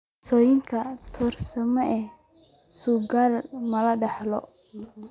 Mosaika trisomy sagal ma la dhaxlo?